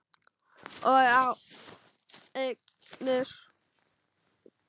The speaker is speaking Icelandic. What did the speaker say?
Og á eignir.